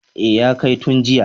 E, ya kai tun jiya.